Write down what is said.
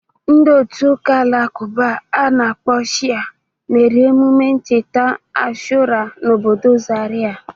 Ndị otu ụka Alakụba a na-akpọ Shia mere mmemme ncheta Ashura n'obodo Zarịa.